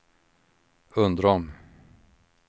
Undrom